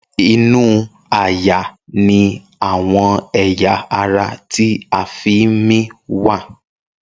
Inú àyà ní àwọn ẹ̀yà ara ti a fí ń mí wá.